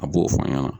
A b'o fɔ an ɲɛna